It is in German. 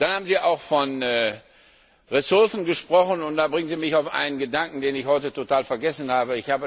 Dann haben Sie auch von Ressourcen gesprochen, und da bringen Sie mich auf einen Gedanken, den ich heute total vergessen habe.